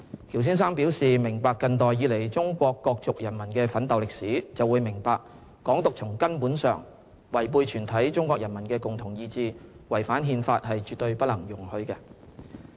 喬先生表示，"明白近代以來中國各族人民的奮鬥歷史，就會明白'港獨'從根本上違背全體中國人民的共同意志，違反憲法，是絕對不能容許的"。